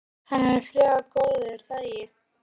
Hann er frekar góður er það ekki?